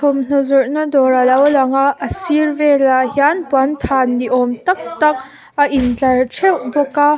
thawmhnaw zawrhna dawr alo lang a a sir velah hian puanthan ni awm tak tak a intlar theuh bawk a.